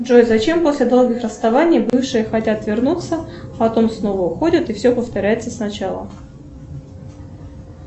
джой зачем после долгих расставаний бывшие хотят вернуться потом снова уходят и все повторяется с начала